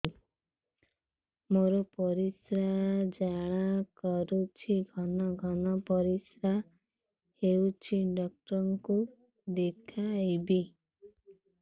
ମୋର ପରିଶ୍ରା ଜ୍ୱାଳା କରୁଛି ଘନ ଘନ ପରିଶ୍ରା ହେଉଛି ଡକ୍ଟର କୁ ଦେଖାଇବି